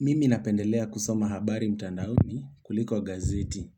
Mimi napendelea kusoma habari mtandaoni kuliko gazeti.